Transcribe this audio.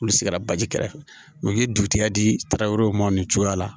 Olu sigira baji kɛrɛfɛ mɛ u bɛ dugutigi di tarawero ma nin cogoya la